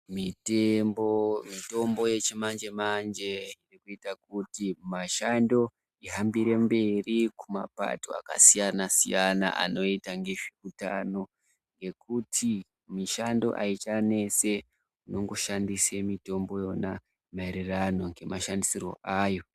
Mitombo yechimanje-manje inoita kuti mishando ihambire mberi mapato akasiyana-siyana, anoita ngezveutano. Ngekuti mishando haichanese inongoshandise mitombo iyona maererano ngemashandisirwo ayo.